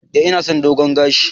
Eh ina son dogon gashi.